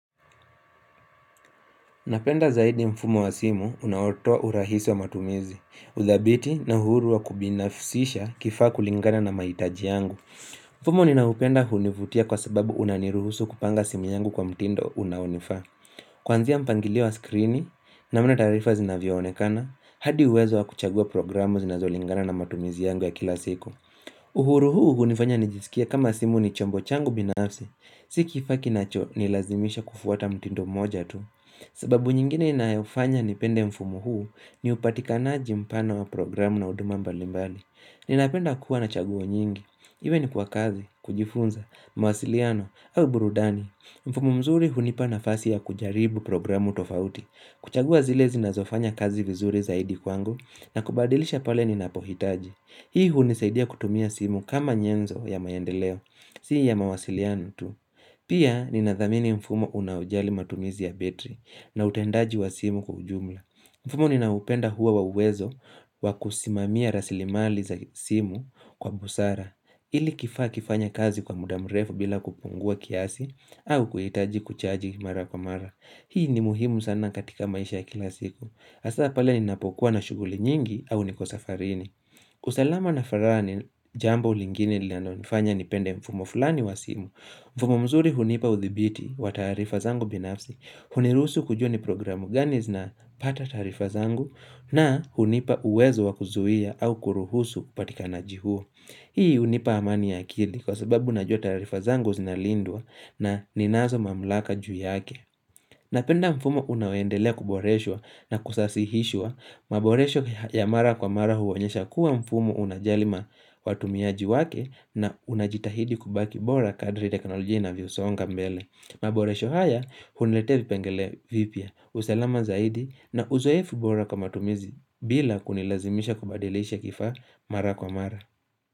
Napenda zaidi mfumo wa simu unaotoa urahisi wa matumizi. Uthabiti na uhuru wa kubinafsisha kifaa kulingana na mahitaji yangu. Mfumo ninaoupenda hunivutia kwa sababu unaniruhusu kupanga simu yangu kwa mtindo unaonifaa. Kuanzia mpangilio wa skrini namna taarifa zinavyo onekana. Hadi uwezo wa kuchagua programu zinazolingana na matumizi yangu ya kila siku. Uhuru huu hunifanya nijisikie kama simu ni chombo changu binafsi. Si kifaa kinacho nilazimisha kufuata mtindo mmoja tu. Sababu nyingine inayofanya nipende mfumo huu ni upatikanaji mpana wa programu na huduma mbalimbali Ninapenda kuwa na chaguo nyingi Iwe ni kwa kazi, kujifunza, mawasiliano au burudani mfumo mzuri hunipa nafasi ya kujaribu programu tofauti kuchagua zile zinazo fanya kazi vizuri zaidi kwangu na kubadilisha pale ninapohitaji Hii hunisaidia kutumia simu kama nyenzo ya maendeleo, si ya mawasiliano tu Pia ninathamini mfumo unaojali matumizi ya betri na utendaji wa simu kwa ujumla mfumo ninaoupenda huwa wa uwezo wa kusimamia rasilimali za simu kwa busara ili kifaa kifanye kazi kwa muda mrefu bila kupungua kiasi au kuhitaji kuchaji mara kwa mara Hii ni muhimu sana katika maisha ya kila siku hasa pala ninapokuwa na shuguli nyingi au niko safarini usalama na farani jambo lingine linalo nifanya nipende mfumo fulani wa simu mfumo mzuri hunipa uthibiti wa taarifa zangu binafsi, huniruhusu kujua ni programu gani zinapata taarifa zangu na hunipa uwezo wa kuzuia au kuruhusu upatikanaji huo Hii hunipa amani ya akili kwa sababu najua taarifa zangu zinalindwa na ninazo mamlaka juu yake. Napenda mfumo unao endelea kuboreshwa na kusasihishwa, maboresho ya mara kwa mara huonyesha kuwa mfumo unajali watumiaji wake na unajitahidi kubaki bora kadri teknolojia inavyosonga mbele. Maboresho haya, huniletea vipengele vipya. Usalama zaidi na uzoefu bora kwa matumizi bila kunilazimisha kubadilisha kifaa mara kwa mara.